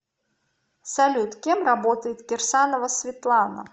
салют кем работает кирсанова светлана